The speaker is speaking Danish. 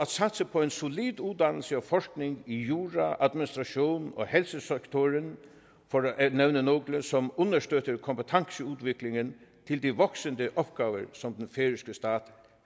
på en solid uddannelse og forskning i jura administration og helsesektoren for at nævne nogle som understøtter kompetenceudviklingen til de voksende opgaver som den færøske stat